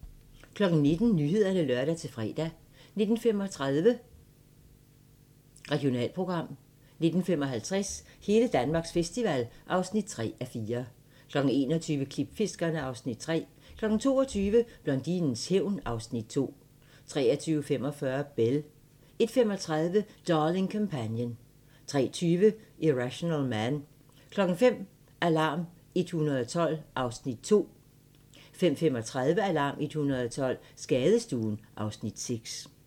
19:00: Nyhederne (lør-fre) 19:35: Regionalprogram 19:55: Hele Danmarks festival (3:4) 21:00: Klipfiskerne (Afs. 3) 22:00: Blondinens hævn 2 23:45: Belle 01:35: Darling Companion 03:20: Irrational Man 05:00: Alarm 112 (Afs. 2) 05:35: Alarm 112 - Skadestuen (Afs. 6)